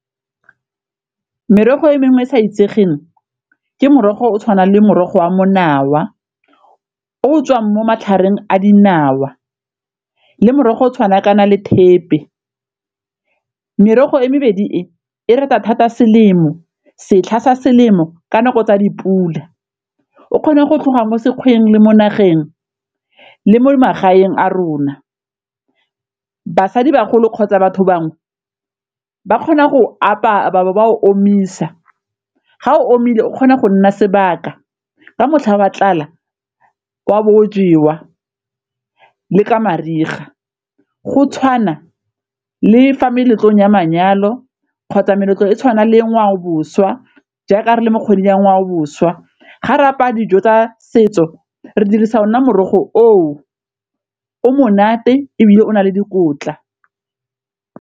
Merogo e mengwe e sa itsegeng ke morogo o tshwanang le morogo wa monawa o tswang mo matlhareng a dinawa le morogo o tshwana kana le thepe, merogo e mebedi e e rata thata selemo setlha sa selemo ka nako tsa dipula o kgona go tlhoga mo sekgweng le mo nageng, le mo magaeng a rona. Basadibagolo kgotsa batho bangwe ba kgona go o apaya e be ba o omisa ga o omile o kgona go nna sebaka, ka motlha wa tlala wa bo o jewa le ka mariga go tshwana le fa meletlong ya manyalo kgotsa meletlo e tshwana le ngwao boswa jaaka re le mo kgweding ya ngwao boswa, ga re apaya dijo tsa setso re dirisa ona morogo oo o monate ebile o na le dikotla.